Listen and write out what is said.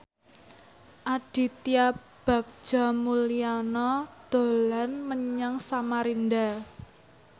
Aditya Bagja Mulyana dolan menyang Samarinda